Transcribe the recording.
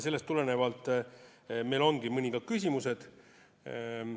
Sellest tulenevalt meil ongi mõned küsimused.